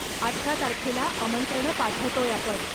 अठरा तारखेला आमंत्रणं पाठवतोय आपण.